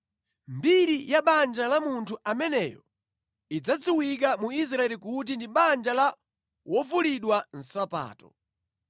Mbiri ya banja la munthu ameneyo idzadziwika mu Israeli kuti ndi Banja la Wovulidwa nsapato.